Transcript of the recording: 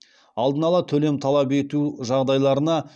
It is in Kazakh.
алдын ала төлем талап ету жағдайларына